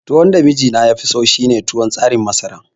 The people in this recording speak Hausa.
Tuwon da mijina yafi so shine tuwon tsarin masara